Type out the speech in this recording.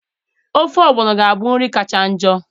Ofe ogbono ga-abụ nri kacha njọ.